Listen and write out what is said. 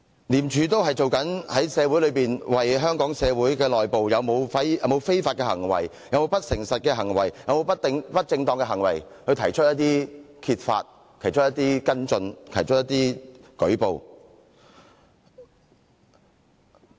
廉署都是正為香港社會揭發社會內部是否有非法行為、不誠實行為、不正當行為，然後作跟進和舉報。